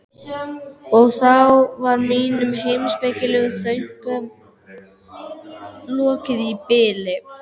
Og þá var mínum heimspekilegu þönkum lokið í bili.